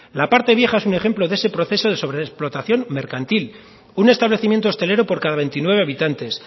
la parte vieja es un ejemplo de ese proceso de sobreexplotación mercantil un establecimiento hostelero por cada veintinueve habitantes